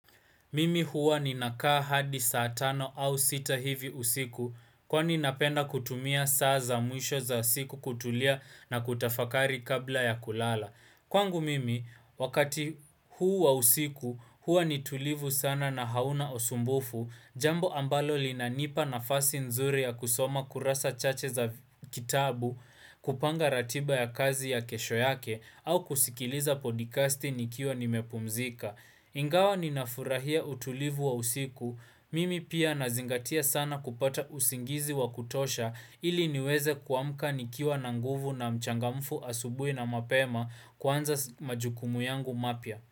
Mimi huwa ni nakaa hadi saa tano au sita hivi usiku kwa ni napenda kutumia saa za mwisho za usiku kutulia na kutafakari kabla ya kulala. Kwangu mimi, wakati huu wa usiku huwa ni tulivu sana na hauna usumbufu, jambo ambalo linanipa na fasi nzuri ya kusoma kurasa chache za kitabu, kupanga ratiba ya kazi ya kesho yake au kusikiliza podcasti nikiwa ni mepumzika. Ingawa ninafurahia utulivu wa usiku, mimi pia nazingatia sana kupata usingizi wa kutosha ili niweze kuamka nikiwa na nguvu na mchangamfu asubui na mapema kwanza majukumu yangu mapya.